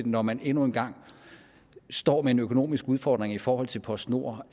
når man endnu en gang står med en økonomisk udfordring i forhold til postnord